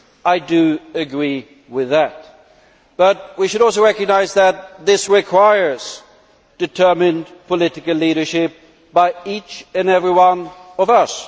I do agree with that, but we should also recognise that this requires determined political leadership by each and every one of us.